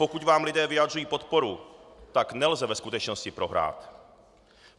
Pokud vám lidé vyjadřují podporu, tak nelze ve skutečnosti prohrát.